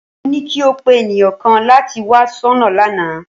Mo ní kí o pé ènìyàn kan láti wá soná lánàá